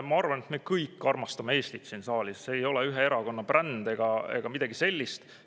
Ma arvan, me kõik siin saalis armastame Eestit, see ei ole ühe erakonna bränd ega midagi sellist.